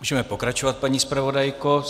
Můžeme pokračovat, paní zpravodajko.